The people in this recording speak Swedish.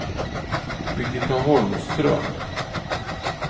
Birgitta Holmström